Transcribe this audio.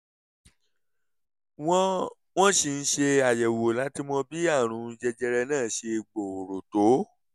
wọ́n wọ́n ṣì ń ṣe àyẹ̀wò láti mọ bí àrùn jẹjẹrẹ náà ṣe gbòòrò tó